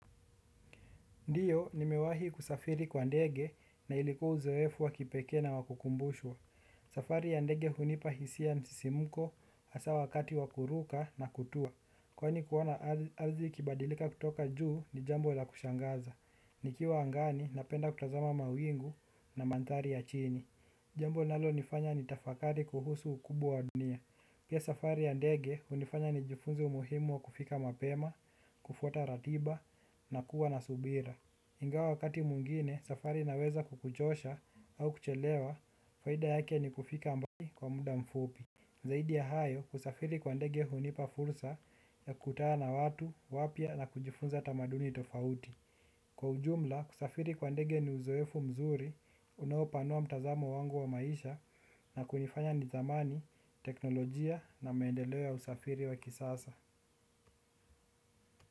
Ndiyo, nimewahi kusafiri kwa ndege na ilikuwa uzoefu wa kipekee na wa kukumbushwa. Safari ya ndege hunipa hisia msisimuko hasa wakati wa kuruka na kutua. Kwani kuona ardhi ikibadilika kutoka juu ni jambo la kushangaza. Nikiwa angani napenda kutazama mawingu na mandhari ya chini. Jambo linalo nifanya ni tafakari kuhusu ukubwa wa dunia. Pia safari ya ndege hunifanya nijifunzi umuhimu wa kufika mapema, kufuata ratiba na kuwa na subira. Ingawa wakati mwingine safari inaweza kukuchosha au kuchelewa, faida yake ni kufika ambagi kwa muda mfupi. Zaidi ya hayo, kusafiri kwa ndege hunipa fursa ya kutana na watu wapya na kujifunza tamaduni tofauti. Kwa ujumla, kusafiri kwa ndege ni uzoefu mzuri unaopanua mtazamo wangu wa maisha na kunifanya nitamani teknolojia na maendeleo ya usafiri wa kisasa.